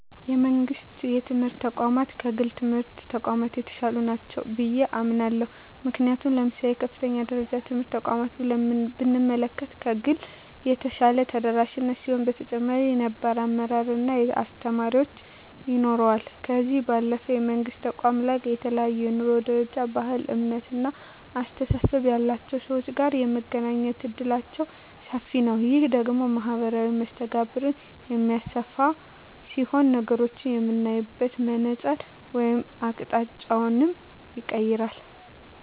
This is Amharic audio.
የመንግስት የትምህርት ተቋማት ከግል የትምህርት ተቋማት የተሻሉ ናቸው ብየ አምናለሁ። ምክንያቱም ለምሳሌ የከፍተኛ ደረጃ ትምህርት ተቋምን ብንመለከት ከግል የተሻለ የተደራጀ ሲሆን በተጨማሪም ነባር አመራር እና አስተማሪዎች ይኖረዋል። ከዚህ ባለፈም የመንግስት ተቋማት ላይ ከተለያየ የኑሮ ደረጃ፣ ባህል፣ እምነት እና አስተሳሰብ ያላቸው ሰወች ጋር የመገናኘት እድላችን ሰፊ ነዉ። ይህ ደግሞ ማህበራዊ መስተጋብርን የሚያሰፋ ሲሆን ነገሮችን የምናይበትን መነፀር ወይም አቅጣጫንም ይቀየራል።